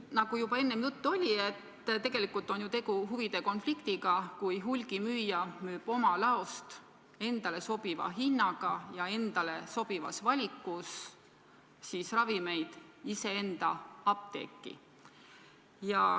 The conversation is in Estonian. Nagu juba enne juttu oli, tegu on ju huvide konfliktiga, kui hulgimüüja müüb oma laost endale sobiva hinnaga ja endale sobivas valikus ravimeid iseenda apteeki.